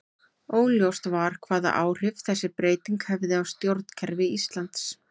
Óljóst var hvaða áhrif þessi breyting hefði á stjórnkerfi Íslands.